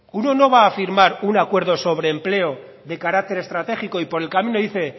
uno no va a firmar un acuerdo sobre empleo de carácter estratégico y por el camino dice